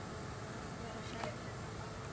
Af hverju segirðu þetta, pabbi?